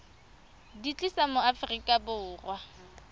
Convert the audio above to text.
di tlisa mo aforika borwa